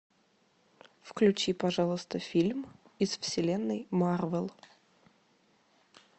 включи пожалуйста фильм из вселенной марвел